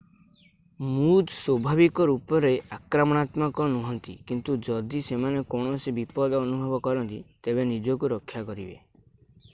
ମୁଜ୍ ଏଲ୍କ ଭାବରେ ମଧ୍ୟ ଜଣାଶୁଣା ସ୍ଵାଭାବିକ ରୂପରେ ଆକ୍ରମଣାତ୍ମକ ନୁହଁନ୍ତି କିନ୍ତୁ ଯଦି ସେମାନେ କୌଣସି ବିପଦ ଅନୁଭବ କରନ୍ତି ତେବେ ନିଜକୁ ରକ୍ଷା କରିବେ।